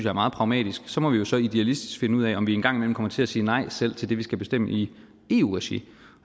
er meget pragmatisk så må vi jo så idealistisk finde ud af om vi engang imellem kommer til at sige nej selv til det vi skal bestemme i eu regi